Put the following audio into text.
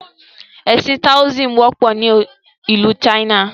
Ẹ̀sìn "Taoism" wọ́pọ̀ ni ìlú China.